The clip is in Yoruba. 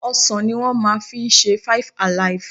Ọsàn ní wọ́n máa fi ṣe five-alive.